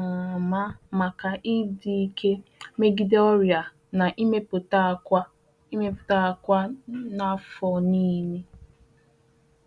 um ama maka ịdị ike megide ọrịa na imepụta akwa imepụta akwa n’afọ niile